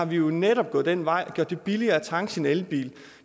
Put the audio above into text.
vi jo netop gået den vej og har gjort det billigere at tanke sin elbil